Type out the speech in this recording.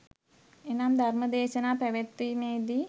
එනම් ධර්ම දේශනා පැවැත්වීමේ දී